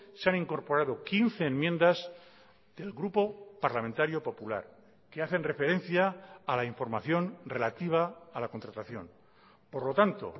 se han incorporado quince enmiendas del grupo parlamentario popular que hacen referencia a la información relativa a la contratación por lo tanto